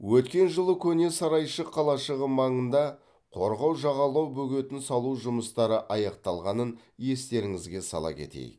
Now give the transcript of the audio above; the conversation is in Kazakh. өткен жылы көне сарайшық қалашығы маңында қорғау жағалау бөгетін салу жұмыстары аяқталғанын естеріңізге сала кетейік